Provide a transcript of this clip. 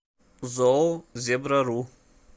зоо зебрару